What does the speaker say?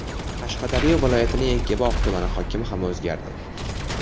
Qashqadaryo viloyatining Yakkabog‘ tumani hokimi ham o‘zgardi.